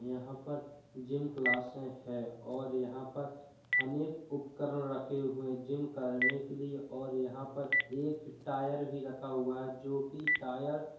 यहाँ पर जिम क्लासे हैं और यहाँ पर अनेक उपकरण रखे हुए हैं जिम करने के लिए और यहाँ पर एक टायर भी रखा हुआ है जो कि टायर --